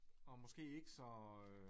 Og måske ikke så øh